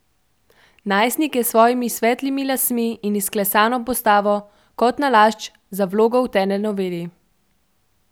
Joško je, jasno, trmast, in vztraja, da je malce žvepla nujnega.